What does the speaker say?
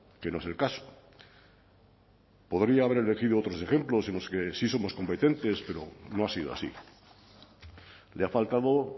que no es el caso podría haber elegido otros ejemplos en los que sí somos competentes pero no ha sido así le ha faltado